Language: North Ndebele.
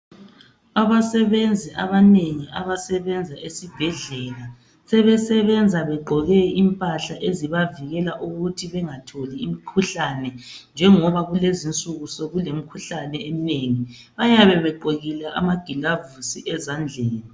Abasebenzi abanengi abasebenza sebesebenza begqoke impahla ezibavikela ukuthi bengatholi imkhuhlane njengoba kulezinsuku sekulemkhuhlane eminengi bayabe begqokile amagilavuzi ezandleni